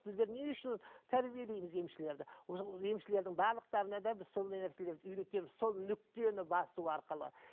біздер не үшін тәрбиелейміз емшілерді емшілердің барлықтарына да біз сондай нәрселерді үйретеміз сол нүктені басу арқылы